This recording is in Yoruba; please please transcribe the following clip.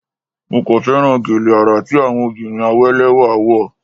Mo kàn féràn gèlè àrà tí àwọn obìnrin àwé lẹ́wà wọ̀.